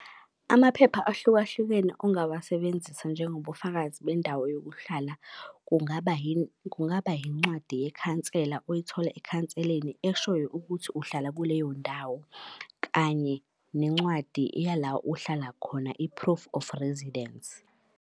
Amaphepha ahlukahlukene ongawasebenzisa njengobufakazi bendawo yokuhlala, kungaba kungaba yincwadi yekhansela oyithola ekhanseleni eshoyo ukuthi uhlala kuleyo ndawo, kanye nencwadi yala uhlala khona i-proof of residence.